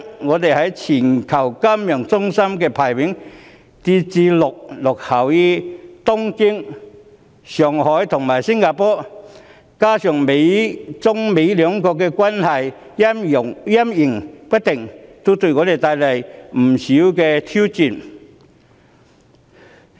我們在全球金融中心的排名跌至落後於東京、上海和新加坡，加上中美兩國關係陰晴不定，均對香港帶來不少的挑戰。